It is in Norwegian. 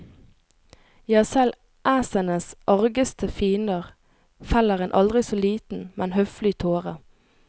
Ja, selv æsenes argeste fiender feller en aldri så liten, men høflig tåre.